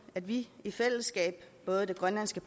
at vi i fællesskab både i det grønlandske